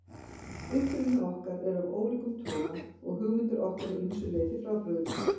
Uppruni okkar er af ólíkum toga og hugmyndir okkar að ýmsu leyti frábrugðnar.